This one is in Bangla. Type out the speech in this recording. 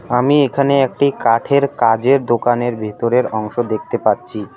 আমি এখানে একটি কাঠের কাজের দোকানের ভিতরের অংশ দেখতে পাচ্ছি।